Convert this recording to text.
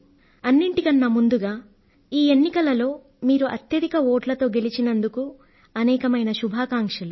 అన్నింటికన్నా ముందుగా ఈ ఎన్నికలలో మీరు అత్యధిక ఓట్లతో గెలిచినందుకు అనేకమైన శుభాకాంక్షలు